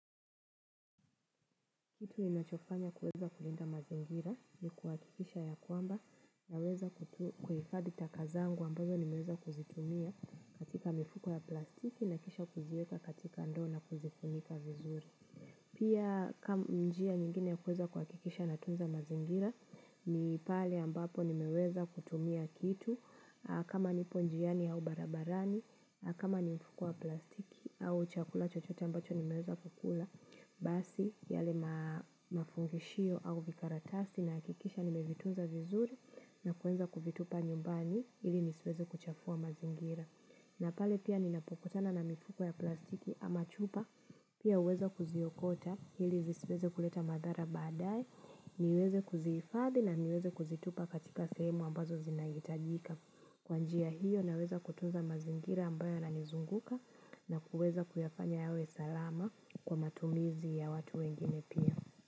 Kitu ninachofanya kuweza kulinda mazingira ni kuhakikisha ya kwamba naweza kuhifadhi taka zangu ambazo nimeweza kuzitumia katika mifuko ya plastiki na kisha kuziweka katika ndoo na kuzifunika vizuri. Pia njia nyingine ya kuweza kuhakikisha natunza mazingira, ni pale ambapo nimeweza kutumia kitu, kama nipo njiani au barabarani, kama ni mfuko wa plastiki au chakula chochota ambacho nimeweza kukula, basi yale mafungishio au vikaratasi nahakikisha nimevitunza vizuri na kuenda kuvitupa nyumbani ili nisiweze kuchafua mazingira. Na pale pia ninapokutana na mifuko ya plastiki ama chupa, pia huweza kuziokota, ili zisiweze kuleta madhara baadaye, niweze kuzihifadhi na niweze kuzitupa katika sehemu ambazo zinahitajika. Kwa njia hiyo naweza kutunza mazingira ambayo yananizunguka na kuweza kuyafanya yawe salama kwa matumizi ya watu wengine pia.